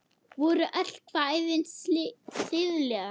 Voru öll kvæðin siðleg?